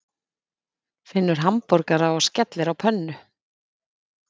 Finnur hamborgara og skellir á pönnu.